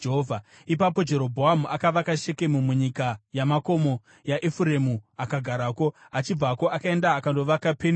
Ipapo Jerobhoamu akavaka Shekemu munyika yamakomo yaEfuremu akagarako. Achibvako akaenda akandovaka Penueri.